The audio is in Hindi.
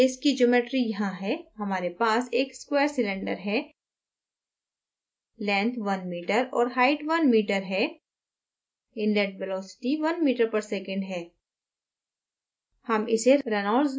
हमारे कैस की geometry यहाँ है हमारे पास एक स्क्वैर सिलेंडर है: length 1m और height 1m है inlet velocity 1 m/s है